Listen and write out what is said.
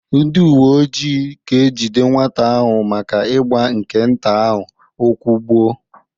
Ndị uwe ojii ga-ejide nwata ahụ maka ịgba nke nta ahụ ụkwụ gbuo